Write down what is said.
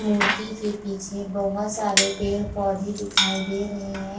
मूर्ति के पीछे बहोत सारे पेड़-पौधे दिखाई दे रहे है।